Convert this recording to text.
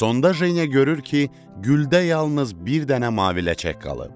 Sonda Jeniya görür ki, güldə yalnız bir dənə mavi ləçək qalıb.